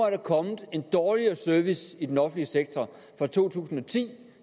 er kommet en dårligere service i den offentlige sektor fra to tusind og ti